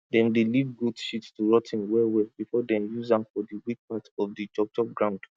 dem dey leave goat shit to rot ten wellwell before dem use am for di weak part of di chopchop ground